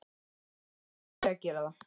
Af hverju þarf ég að gera það?